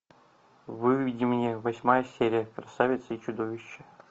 выведи мне восьмая серия красавица и чудовище